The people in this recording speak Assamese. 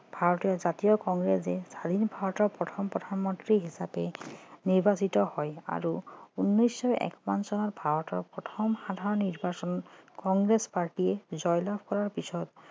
জাতীয় কংগ্ৰেছে স্বাধীন ভাৰতৰ প্ৰথম প্ৰধানমন্ত্ৰী হিচাপে নিৰ্বাচিত হয় আৰু উনৈছশ একাৱন্ন চনত ভাৰতৰ প্ৰথম সাধাৰণ নিৰ্বাচনত কংগ্ৰেছ party জয়লাভ কৰাৰ পাছত